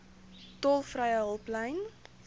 tolvrye hulplyn